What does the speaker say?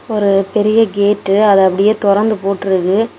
ஒரு பெரிய கேட் அது அப்படியே தொறந்து போட்ருக்கு.